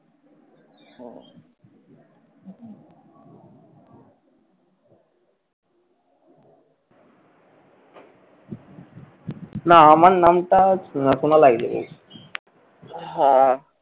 না আমান নামটা শোনা শোনা লাগছে